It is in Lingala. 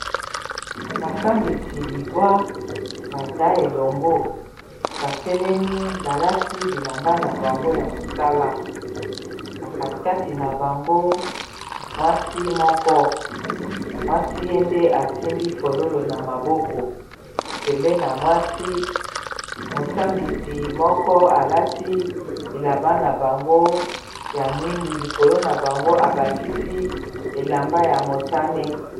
Basambisi libwa baza elongo batelemi balati bilamba na bango ya mosala na kati kati na bango mwasi moko mwasi ye nde asimbi fololo na maboko pembeni na mwasi mosambisi moko alati bilamba na bango ya mwindu likolo na bango abakisi elamba ya motane.